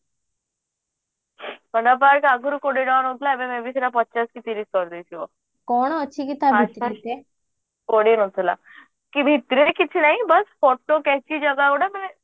Panda park ଆଗରୁ କୋଡିଏ ଟଙ୍କା ନାଉଥିଲା ଏବେ may be ସେଟା ପଚାଶ କି ତିରିଶ କରିଦେଇଥିବ ଭିତରେ କିଛି ନାଇଁ ବାସ photo କେଞ୍ଚି ଜାଗାଗୋଟେ ମାନେ